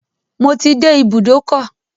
Mo ti dé ibùdókọ̀.